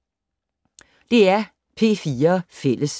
DR P4 Fælles